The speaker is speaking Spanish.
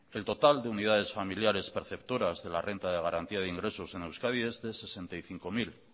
el total de unidades familiares perceptoras de la renta de garantía de ingresos en euskadi es de sesenta y cinco mil